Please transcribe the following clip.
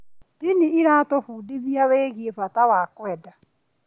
Ndini ĩratũbundithia wĩgiĩ bata wa kwenda.